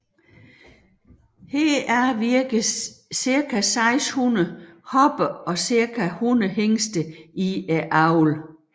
Heraf virker cirka 600 hopper og cirka 100 hingste i avlen